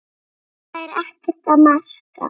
Þetta er ekkert að marka.